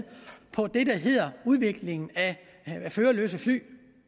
udviklingen af førerløse fly